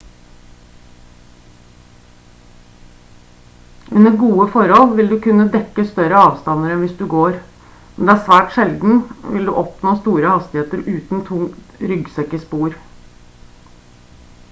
under gode forhold vil du kunne dekke større avstander enn hvis du går men det er svært sjeldent vil du oppnå store hastigheter uten tung ryggsekk i spor